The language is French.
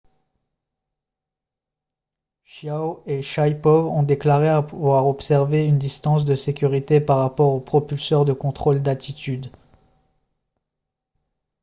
chiao et shaipov ont déclaré avoir observé une distance de sécurité par rapport aux propulseurs de contrôle d'attitude